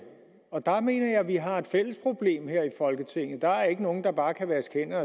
vi har et fælles problem her i folketinget der er ikke nogen der bare kan vaske